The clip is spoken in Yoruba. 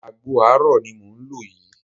Àgbo àárọ̀ ni mò ń lò yìí